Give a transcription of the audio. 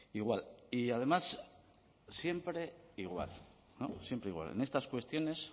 igual y además siempre igual siempre igual en estas cuestiones